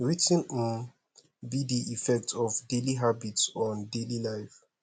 wetin um be di effect of daily habits on daily life